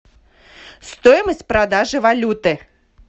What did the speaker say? стоимость продажи валюты